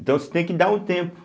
Então você tem que dar um tempo.